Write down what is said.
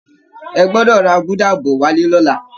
Ẹ gbọ́dọ̀ ra gúdà bọ̀ wálé lọ́la!